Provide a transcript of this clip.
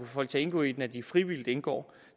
folk til at indgå i den at de frivilligt indgår